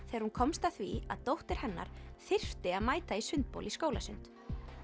þegar hún komst að því að dóttir hennar þyrfti að mæta í sundbol í skólasund